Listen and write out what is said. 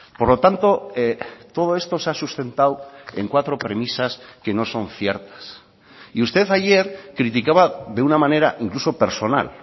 por lo tanto todo esto se ha sustentado en cuatro premisas que no son ciertas y usted ayer criticaba de una manera incluso personal